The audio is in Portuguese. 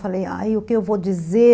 Falei, ai, o que eu vou dizer?